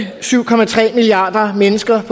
syv milliarder mennesker